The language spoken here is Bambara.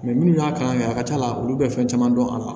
minnu y'a kalan kɛ a ka c'a la olu bɛ fɛn caman dɔn a la